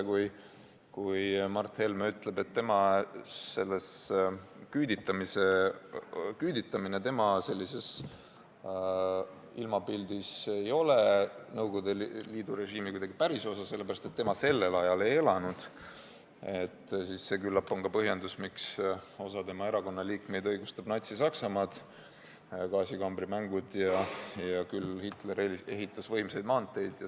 Kui Mart Helme ütleb, et küüditamine tema ilmapildis ei ole kuidagi Nõukogude Liidu režiimi pärisosa, sest tema sellel ajal ei elanud, siis küllap see on ka põhjendus, miks osa tema erakonna liikmeid õigustab Natsi-Saksamaad .